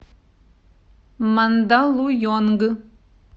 мандалуйонг